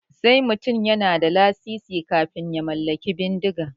Sai mutum yana da lasisi kafin ya mallaki bindiga.